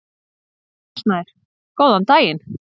Rúnar Snær: Góðan daginn.